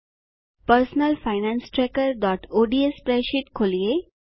personal finance trackerઓડ્સ spreadsheet ખોલીએ